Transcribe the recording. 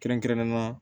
Kɛrɛnkɛrɛnnenya la